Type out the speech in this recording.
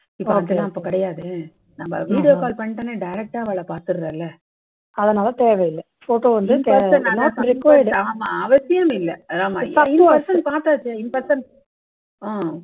இப்போ அதெல்லாம் கிடையாது நம்ம video calls பண்ணிட்டோம்னா direct டா அவாளை பார்த்துடற, அதனால தேவை இல்லை. photo வந்து இல்லை. in person பார்த்தாச்சே n person உம்